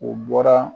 O bɔra